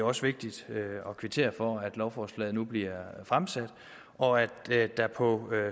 også vigtigt at kvittere for at lovforslaget nu bliver fremsat og at der på